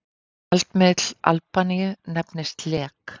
Gjaldmiðill Albaníu nefnist lek.